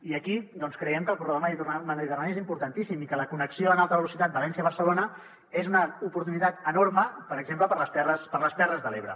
i aquí doncs creiem que el corredor mediterrani és importantíssim i que la connexió en alta velocitat valència barcelona és una oportunitat enorme per exemple per a les terres de l’ebre